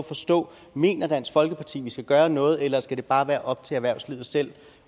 forstå mener dansk folkeparti vi skal gøre noget eller skal det bare være op til erhvervslivet selv